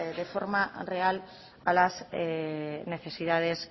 de forma real a las necesidades